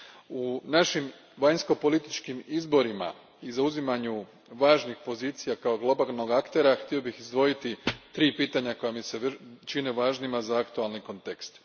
U našim vanjsko političkim izborima i zauzimanju važnih pozicija kao globalnog aktera, htio bih izdvojiti tri pitanja koja mi se čine važnima za aktualni kontekst.